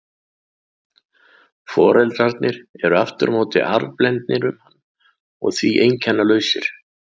Foreldrarnir eru aftur á móti arfblendnir um hann og því einkennalausir.